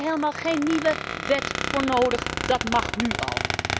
Daar hebben we helemaal geen nieuwe wet voor nodig, dat mag nu al.